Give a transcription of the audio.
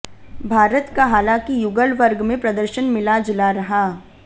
भारत का हालांकि युगल वर्ग में प्रदर्शन मिला जुला रहा